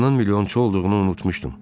Atanın milyonçu olduğunu unutmuşdum.